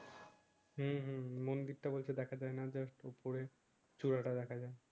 হম হম মন্দির টা বলছে দেখা যায় না জাস্ট উপরে চুড়া টা দেখা যায়